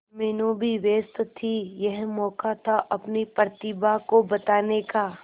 मीनू भी व्यस्त थी यह मौका था अपनी प्रतिभा को बताने का